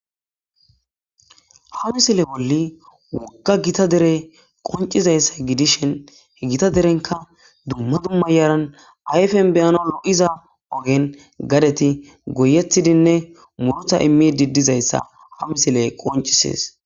Ha misile bolli wogga dere qonccizayssa gidishin gita derenkka dumma dumma yaran ayfen be7anaw lo7iza ogen gadeti goyyetidinne muruuta imiidi dizayssa ha misile qoccisees.